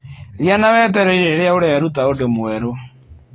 Gĩa na wetereri rĩrĩa ũreruta ũndũ mwerũ.